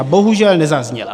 A bohužel nezazněla.